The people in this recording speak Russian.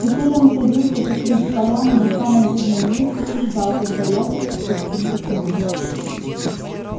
теперь он садился посреди поляны на самом видном месте и ждал когда ястреб спустится к нему